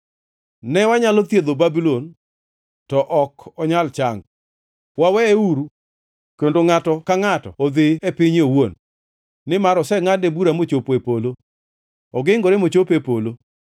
“ ‘Ne wanyalo thiedho Babulon, to ok onyal chango; waweyeuru, kendo ngʼato ka ngʼato odhi e pinye owuon, nimar osengʼadne bura mochopo e polo, ogingore mochopo e polo.’